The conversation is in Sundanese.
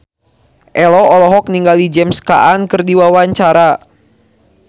Ello olohok ningali James Caan keur diwawancara